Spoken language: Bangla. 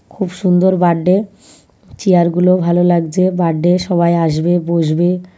খুব সুন্দর বাড্ডে । চেয়ার গুলোও ভালো লাগছে। বাড্ডে সবাই আসবে বসবে ।